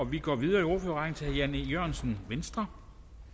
vi går videre i ordførerrækken til herre jan e jørgensen venstre